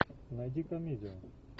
найди комедию